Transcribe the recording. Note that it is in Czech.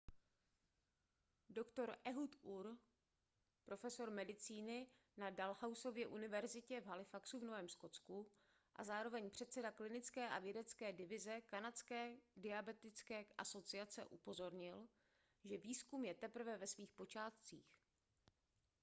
dr ehud ur profesor medicíny na dalhousieově univerzitě v halifaxu v novém skotsku a zároveň předseda klinické a vědecké divize kanadské diabetické asociace upozornil že výzkum je teprve ve svých počátcích